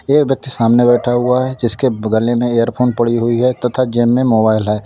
एक व्यक्ति सामने बैठा हुआ है जिसके बगले में एयरफोन पड़ी हुई है तथा जेब में मोबाइल है।